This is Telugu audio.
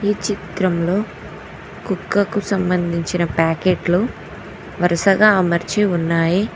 ఈ చిత్రంలో కుక్కకు సంబంధించిన ప్యాకెట్లు వరుసగా అమర్చి ఉన్నాయి.